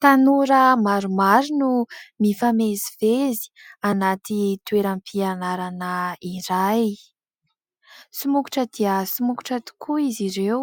Tanora maromaro no mifamezivezy anaty toeram-pianarana iray. Somokotra dia somokotra tokoa izy ireo